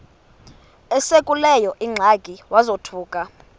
esekuleyo ingxaki wazothuka